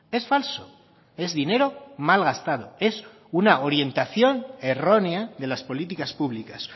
es falso es dinero mal gastado es una orientación errónea de las políticas públicas